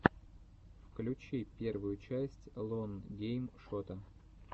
включи первую часть лон гейм шота